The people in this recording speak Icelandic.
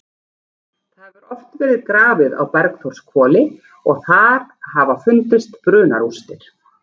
Það hefur oft verið grafið á Bergþórshvoli og þar hafa fundist brunarústir.